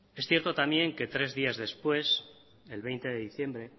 es cierto también que tres días después el veinte de diciembre